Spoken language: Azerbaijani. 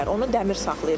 Onu dəmir saxlayır.